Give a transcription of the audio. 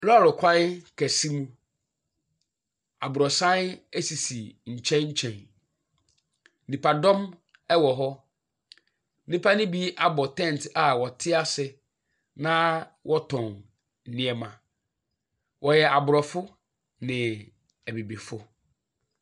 Lɔɔre kwan kɛse mu. Abrɔsan esisi nkyɛn nkyɛn. Nnipadɔm wɔ hɔ. Nnipa no bi abɔ tent a wɔte ase na wɔtɔn nneɛma. Wɔyɛ abrɔfo ne abibifo.